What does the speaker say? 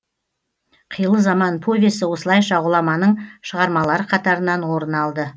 қилы заман повесі осылайша ғұламаның шығармалары қатарынан орын алды